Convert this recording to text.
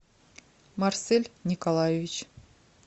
марсель николаевич